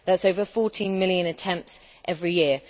That is over 14 million attempts every year.